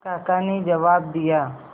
काका ने जवाब दिया